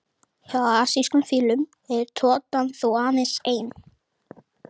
Hjá asískum fílum er totan þó aðeins ein.